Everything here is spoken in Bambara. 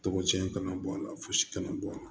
Tɔgɔ cɛn kana bɔ a la fosi kana bɔ a la